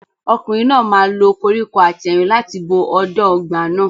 Ọkùnrin náà máa lo koríko àtẹ̀rìn láti bo ọ̀dàn ọgbà náà.